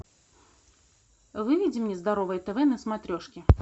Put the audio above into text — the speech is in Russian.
выведи мне здоровое тв на смотрешке